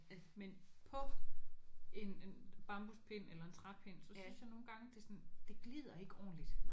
Men men på en en bambuspind eller en træpind så synes jeg nogle gange de sådan det glider ikke ordentligt